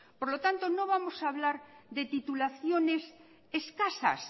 por lo tanto no vamos a hablar de titulaciones escasas